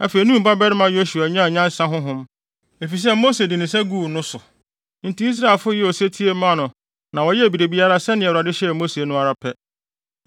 Afei, Nun babarima Yosua nyaa nyansa honhom, efisɛ Mose de ne nsa guu ne so. Enti Israelfo yɛɛ osetie maa no na wɔyɛɛ biribiara sɛnea Awurade hyɛɛ Mose no ara pɛ.